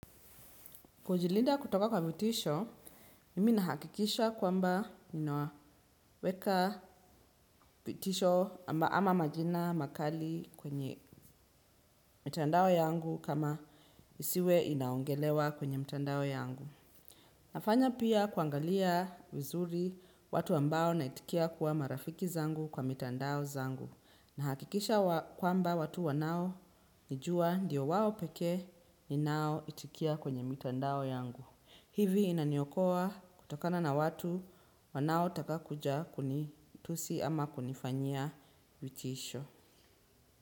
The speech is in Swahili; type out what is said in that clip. Kujilinda kutoka kwa vitisho, mimi nahakikisha kwamba ninaweka vitisho ama majina makali kwenye mtandao yangu kama isiwe inaongelewa kwenye mtandao yangu. Nafanya pia kuangalia vizuri watu ambao naitikia kuwa marafiki zangu kwa mtandao zangu. Nahakikisha kwamba watu wanaonijua ndio wawo pekee ninaoitikia kwenye mtandao yangu. Hivi inaniokoa kutakana na watu wanaotaka kuja kunitusi ama kunifanyia vitisho.